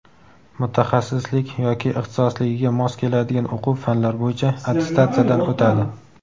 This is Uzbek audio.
mutaxassislik yoki ixtisosligiga mos keladigan o‘quv fanlar bo‘yicha attestatsiyadan o‘tadi.